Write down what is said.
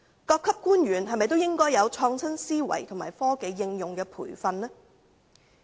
各級官員是否也應有創新思維及接受科技應用的培訓呢？